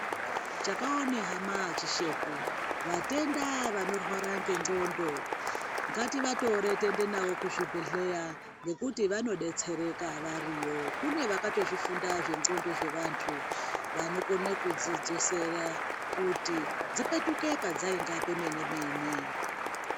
Chakaone hama hachishekwi vatenda vanorwara ngenxondo ngativatore tiende navo kuzvibhedhlera ngekuti vanodetsereka variyo kune vakatozvifunda zvenxondo dzevantu vanokone kudzidzosera kuti dzipetuke padzainga pemene mene .